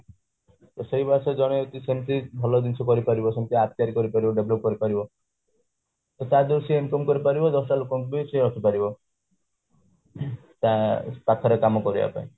ତ ସେଇ ବୟସରେ ଜଣେ ଯଦି ସେମିତି ଭଲ ଜିନିଷ କରିପାରିବ ଯେମିତି art ତିଆରି କରିପାରିବ develop କରିପାରିବ ତ ତା ଧିଅରୁ ସେ income କରିପାରିବ ଦଶଟା ଲୋକଙ୍କୁ ବି ରଖିପାରିବ ତା ତା ପାଖରେ କାମ କରିବା ପାଇଁ